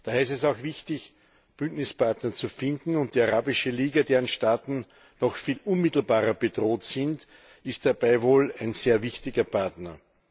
Daher ist es auch wichtig, Bündnispartner zu finden, und die Arabische Liga, deren Staaten noch viel unmittelbarer bedroht sind, ist dabei wohl ein sehr wichtiger Partner.